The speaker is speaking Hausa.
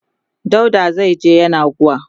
dauda zaije yenagoa